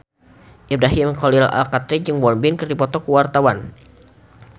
Ibrahim Khalil Alkatiri jeung Won Bin keur dipoto ku wartawan